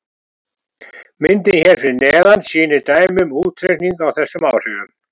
Myndin hér fyrir neðan sýnir dæmi um útreikning á þessum áhrifum.